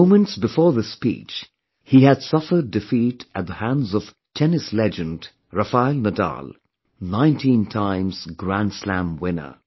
Moments before this speech, he had suffered defeat at the hands of Tennis legend Rafael Nadal, 19 times grand slam winner